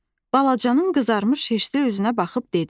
Balacanın qızarmış heşli üzünə baxıb dedi.